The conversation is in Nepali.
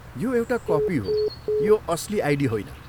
यो एउटा कपी हो, यो असली आइडी होइन।